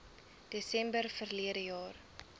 desember verlede jaar